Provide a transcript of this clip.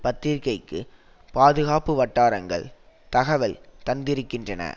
பத்திரிக்கைக்கு பாதுகாப்பு வட்டாரங்கள் தகவல் தந்திருக்கின்றன